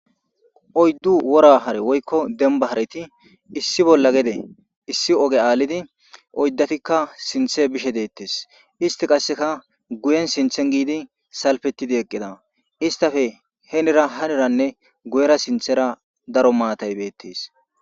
oyddu wora hare woykko demba hareti issi bolla gede issi oge aalidi oyddatikka sinthe bishe deettes isti qasseka guyen sinthen giidi salpetidi eqqida istafe henira haniranne guyera sinthera daro maatay beettes